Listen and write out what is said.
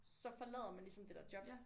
Så forlader man ligesom det der job